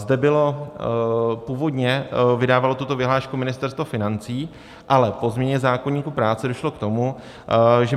Zde bylo... původně vydávalo tuto vyhlášku Ministerstvo financí, ale po změně zákoníku práce došlo k tomu, že